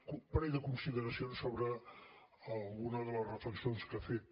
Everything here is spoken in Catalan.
un parell de consideracions sobre alguna de les reflexions que ha fet